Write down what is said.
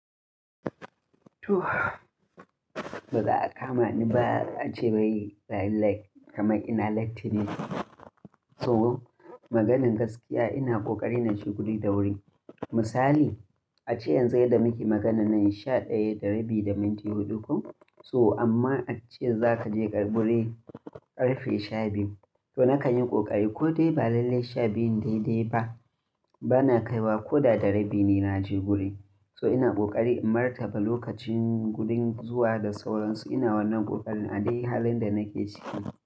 Baza'a kama ni ba ace bayi, bayi like kamar ina lucky ne. So maganan gaskiya ina ƙoƙari na je guri da wuri. Misali ace yanzu yadda muke maganan nan sha ɗaya da rabi da minti huɗu ko? So amma ace za ka je ƙarɓure ƙarfe shabiyu. To na ka yin ƙoƙari ko dai ba lalle shabiyun daidai ba. Ba na kaiwa ko da da rabi ne na je guri. So ina ƙoƙari in martaba lokacin gudun zuwa da sauransu. Ina wannan ƙoƙarin a dai halin da nake ciki.